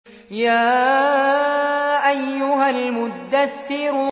يَا أَيُّهَا الْمُدَّثِّرُ